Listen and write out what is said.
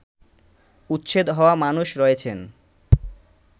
উচ্ছেদ হওয়া মানুষ রয়েছেন